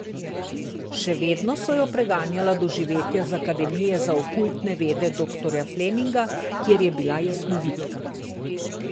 Še vedno so jo preganjala doživetja z Akademije za okultne vede doktorja Fleminga, kjer je bila jasnovidka.